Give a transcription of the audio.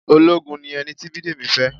Ológun ni ẹni tí Bidemi fẹ́.